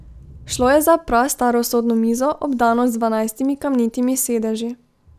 Šlo je za prastaro sodno mizo, obdano z dvanajstimi kamnitimi sedeži.